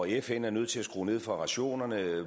fn er nødt til at skrue ned for rationerne